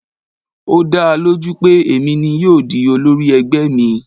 Ó dáa lójú pé èmi ni yóò di olórí ẹgbẹ́ mi.